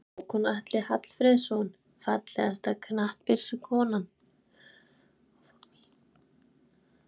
Hákon Atli Hallfreðsson Fallegasta knattspyrnukonan?